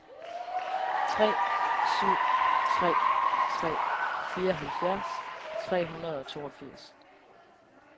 tre syv tre tre fireoghalvfjerds tre hundrede og toogfirs